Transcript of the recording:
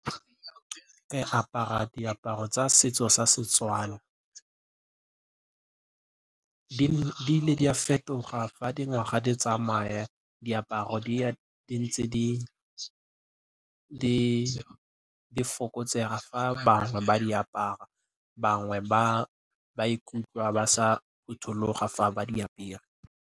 Ke apara diaparo tsa setso sa Setswana. Di ne di a fetoga fa dingwaga di tsamaya, diaparo di ya di ntse di fokotsega fa bangwe ba di apara, bangwe ba ikutlwa ba sa phuthuloga fa ba di apere.